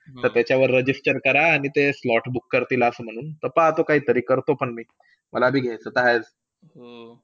त्याच्यावर register करा. आणि मग ते slots book करतील. ता पाहतो काही तरी करतो पण मी मला भी घ्याचता आहेच.